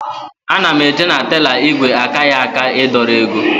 Ana m eje na teller ígwè akaghị aka ị dọrọ ego